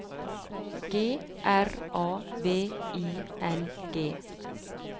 G R A V I N G